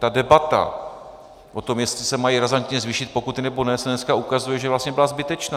Ta debata o tom, jestli se mají razantně zvýšit pokuty, nebo ne, se dneska ukazuje, že vlastně byla zbytečná.